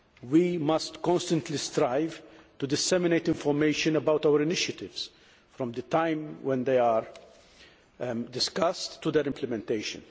We must constantly strive to disseminate information about our initiatives, from the time when they are discussed to their implementation.